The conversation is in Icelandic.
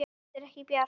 Þetta er ekki bjart.